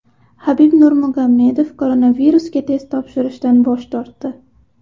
Habib Nurmagomedov koronavirusga test topshirishdan bosh tortdi.